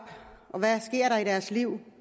og hvad sker der i deres liv